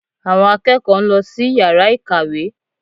Àwọn akẹ́kọ̀ọ́ ń lọ sí yàrá ìkàwé